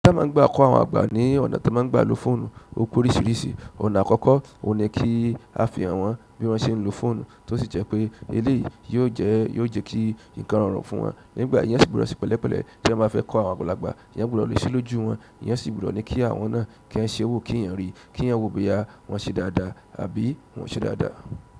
A máa ń gba kọ́ àwọn àgbà ní ọ̀nà tí wọ́n máa ń gba lo fóònù o pe oríṣiríṣi. Ọ̀nà àkọ́kọ́, o ní kí a fihàn wọn bí wọ́n ṣe ń lo fóònù, tó sì jẹ́ pé eléèyí yìí yóò jẹ́ kí ǹkan rọrùn fún wọn. Nígbà yẹn èèyàn sì gbudọ se pẹ̀lẹ́pẹ̀lẹ́ èèyàn báa fẹ́ kọ́ àwọn àgbàlagbà. Èèyàn gbudọ léṣe lójú wọn, èèyàn sì gbudọ ní kí àwọn náà kí wọ́n ṣe owó kí èèyàn rí, kí èèyàn wo boyà wọn ṣe dáadáa àbí wọ́n ṣe dáadáa.